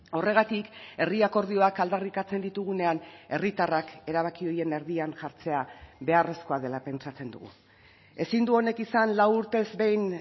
horregatik herri akordioak aldarrikatzen ditugunean herritarrak erabaki horien erdian jartzea beharrezkoa dela pentsatzen dugu ezin du honek izan lau urtez behin